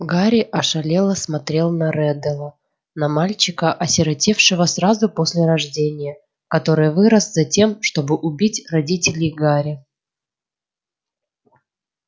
гарри ошалело смотрел на реддела на мальчика осиротевшего сразу после рождения который вырос затем чтобы убить родителей гарри